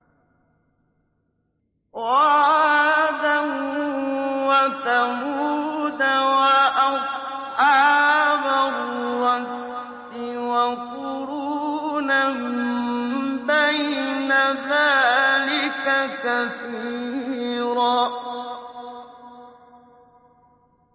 وَعَادًا وَثَمُودَ وَأَصْحَابَ الرَّسِّ وَقُرُونًا بَيْنَ ذَٰلِكَ كَثِيرًا